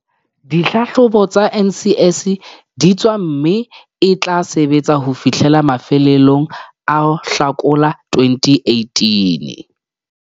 Dihlahlobo tsa NSC di tswa mme e tla sebetsa ho fihlela mafelong a Hlakola 2018.